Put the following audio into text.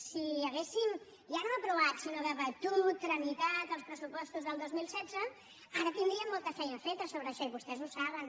si haguéssim ja no aprovat sinó debatut tramitat els pressupostos del dos mil setze ara tindríem molta feina feta sobre això i vostès ho saben